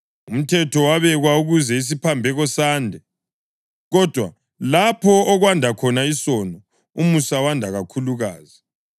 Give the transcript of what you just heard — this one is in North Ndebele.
Umthetho wabekwa ukuze isiphambeko sande. Kodwa lapho okwanda khona isono, umusa wanda kakhulukazi,